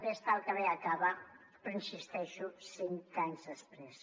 bé està el que bé acaba però hi insisteixo cinc anys després